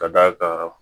Ka d'a kan